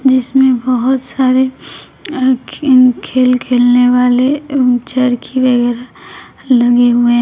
जिसमें बहुत सारे खेल खेलने वाले चरखी वगैरा लगे हुए--